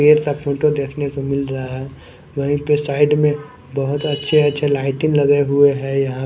पेड़ का फोटो देखने को मिल रहा है। वहीं पे साइड में बहोत अच्छे अच्छे लाइटिंग लगे हुआ हैं यहां।